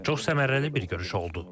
Çox səmərəli bir görüş oldu.